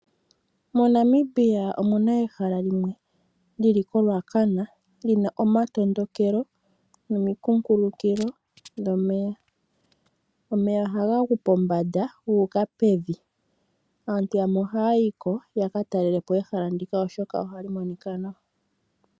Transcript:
MoNamibia omuna ehala limwe lili koRuacana lina omatandokelo nomi kunkulukilo dhomeya, omeya ohaga gu pombanda gu uka pevi aantu yamwe ohaya yiko yaka talelepo ehala ndika oshoka ohali monika nawa.